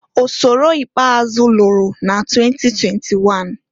Ọsọrọ ikpeazụ lụrụ na 2021.